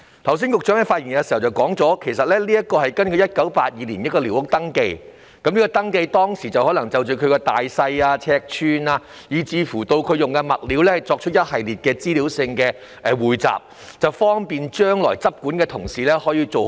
局長在剛才的發言中指出，這是根據1982年進行的一項寮屋登記而訂定，當時可能旨在就大小、尺寸以至所用物料作出一系列的資料匯集，方便日後的執管同事跟進。